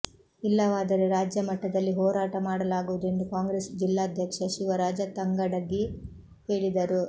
ಇಲ್ಲವಾದರೆ ರಾಜ್ಯ ಮಟ್ಟದಲ್ಲಿ ಹೋರಾಟ ಮಾಡಲಾಗುವುದು ಎಂದು ಕಾಂಗ್ರೆಸ್ ಜಿಲ್ಲಾಧ್ಯಕ್ಷ ಶಿವರಾಜ ತಂಗಡಗಿ ಹೇಳಿದರು